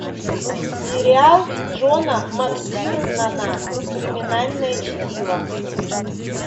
сериал джона мактирнана криминальное чтиво